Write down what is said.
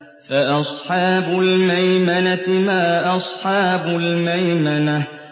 فَأَصْحَابُ الْمَيْمَنَةِ مَا أَصْحَابُ الْمَيْمَنَةِ